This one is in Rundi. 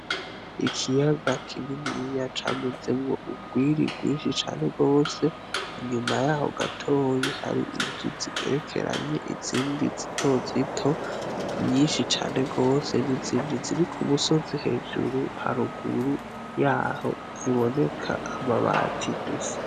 Ikiyaga kininiya camezemwo urwiri rwinshi cane gose, inyuma yaho gatoyi hari inzu zigerekeranye izindi zitozito nyinshi cane gose nizindi ziri ku musozi hejuru haruguru yaho ziboneka amabati gusa.